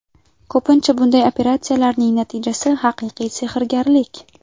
Ko‘pincha bunday operatsiyalarning natijasi haqiqiy sehrgarlik.